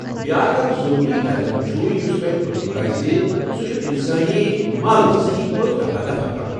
بیٛاکھ اکھ ضروٗری قدم چُھ یُس تۄہہ تُلُن پزِ، سو چھُ انسٲنی مل سہی پٲٹھۍ رفع دفع كرُن ۔